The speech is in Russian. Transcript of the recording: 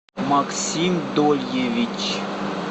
максим дольевич